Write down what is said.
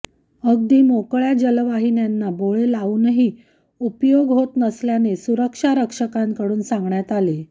अगदी मोकळ्या जलवाहिन्यांना बोळे लावूनही उपयोग होत नसल्याने सुरक्षारक्षकांकडून सांगण्यात आले